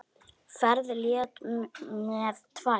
Ferð létt með tvær.